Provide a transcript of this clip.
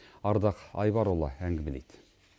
ардақ айбарұлы әңгімелейді